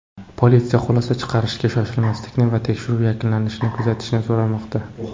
Politsiya xulosa chiqarishga shoshmaslikni va tekshiruv yakunlanishini kutishni so‘ramoqda.